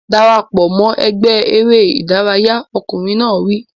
Dara pọ̀ mọ́ ẹgbẹ́ eré ìdárayá! Ọkùnrin náà wí.